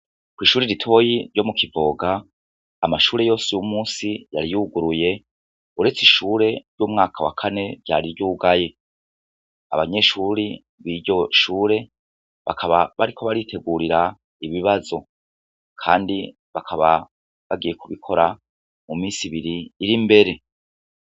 Ku ishuri ritoyi ryo mu Kivoga amashuri yose uyu munsi yari yuguruye uretse ishure ry'umwaka wa kane ryari ryugaye abanyeshuri biryo shuri bakaba bari ko baritegurira ibibazo kandi bakaba bagiye ku bikora mu minsi ibiri iri mbere.